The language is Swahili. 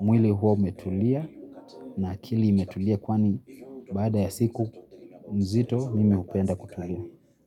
mwili huwa umetulia na akili imetulia kwani baada ya siku mzito mimi hupenda kutulia.